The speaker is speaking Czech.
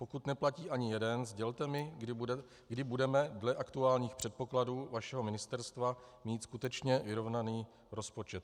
Pokud neplatí ani jeden, sdělte mi, kdy budeme dle aktuálních předpokladů vašeho ministerstva mít skutečně vyrovnaný rozpočet.